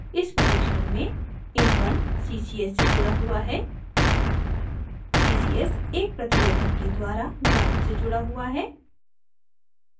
इस परीक्षण में in1 ccs से जुड़ा हुआ है ccs एक प्रतिरोधक के द्वारा ground gnd से जुड़ा हुआ है